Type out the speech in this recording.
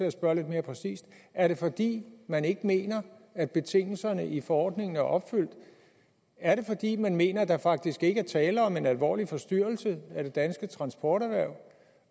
at spørge lidt mere præcist er det fordi man ikke mener at betingelserne i forordningen er opfyldt er det fordi man mener at der faktisk ikke er tale om en alvorlig forstyrrelse af det danske transporterhverv